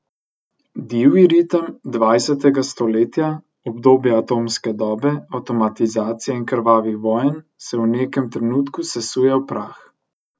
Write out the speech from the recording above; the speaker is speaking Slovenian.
Divji ritem dvajsetega stoletja, obdobja atomske dobe, avtomatizacije in krvavih vojn se v nekem trenutku sesuje v prah.